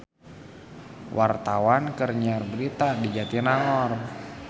Wartawan keur nyiar berita di Jatinangor